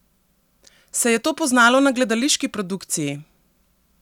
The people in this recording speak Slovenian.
Se je to poznalo na gledališki produkciji?